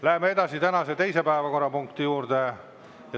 Läheme edasi tänase teise päevakorrapunkti juurde.